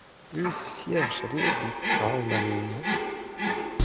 из всех жребий пал на меня